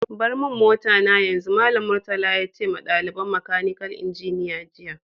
Bar mun mota na yanzu! Mallam Murtala ya ce ma dalibain makanikal injiniya jiya.